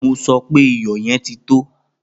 Mo sọ pé iyò̩ ye̩n ti tó!